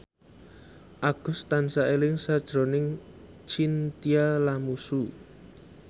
Agus tansah eling sakjroning Chintya Lamusu